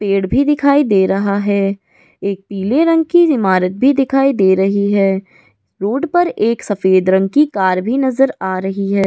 पेड़ भी दिखाई दे रहा है एक पीले रंग की इमारत भी दिखाई दे रही है रोड पर एक सफेद रंग की कार भी नजर आ रही है।